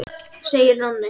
segir Nonni.